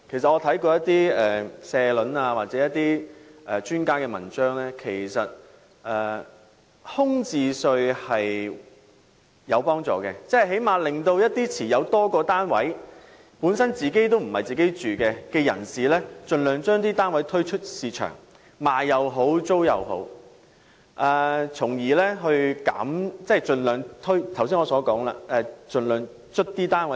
我從一些社評或專家文章得知，其實徵收空置稅是有幫助的，因為此舉最低限度會令那些持有多個單位或單位並非作自住用途的業主，盡量將所持單位推出市場出售或出租，從而增加單位的供應量。